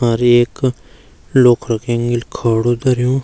और एक लोख्रा क् एंगल खड़ू धर्यूं --